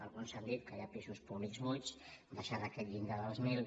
alguns han dit que hi ha pisos públics buits baixar d’aquest llindar dels mil